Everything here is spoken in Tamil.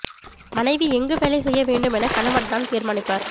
மனைவி எங்கு வேலை செய்ய வேண்டும் என கணவன் தான் தீர்மானிப்பார்